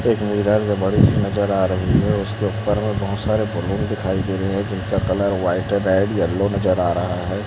एक मिरर बड़ी सी नज़र आ रही है उसके ऊपर में बहोत सारे बलून दिखाई दे रहे है जिनका कलर व्हाइट रेड येलो नज़र आ रहा है।